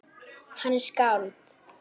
Hann er skáld.